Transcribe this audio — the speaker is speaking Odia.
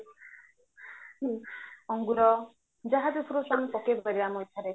ଅଙ୍ଗୁର ଯାହା ବି fruits ପକେଇପାରିବା ଆମ ଇଚ୍ଛାରେ